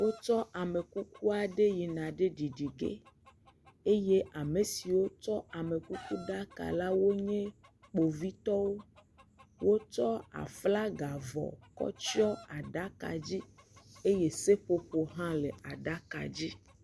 Wotsɔ amekuku aɖe yina ɖe ɖiɖige eye ame siwo tsɔ amekukuɖaka la woenye kpovitɔwo wotsɔ aflagavɔ kɔ tsyɔ aɖaka dzi eye seƒoƒo ha le aɖaka dzi